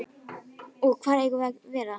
Og hvar eigum við að vera?